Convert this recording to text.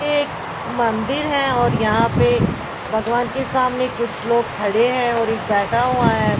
एक मंदिर है और यहाँ पे भगवान के सामने कुछ लोग खड़े हैं और एक बैठा हुआ है।